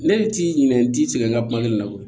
Ne de t'i ɲininka n t'i cɛ ka kuma ne la koyi